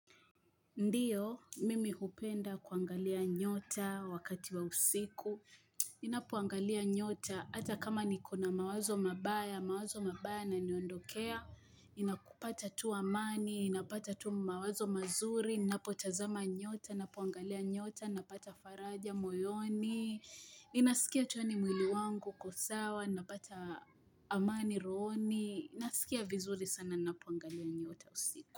Ndiyo, mimi hupenda kuangalia nyota wakati wa usiku. Ninapoangalia nyota, hata kama nikona mawazo mabaya, mawazo mabaya yananiondokea. Ninakupata tu amani, ninapata tu mawazo mazuri, ninapotazama nyota, ninapoangalia nyota, napata faraja moyoni. Ninasikia tu yaani mwili wangu uko sawa, ninapata amani rohoni. Ninasikia vizuri sana, ninapuangalia nyota usiku.